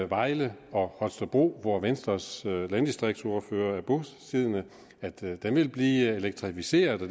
vejle og holstebro hvor venstres landdistriktsordfører er bosiddende vil blive elektricificeret og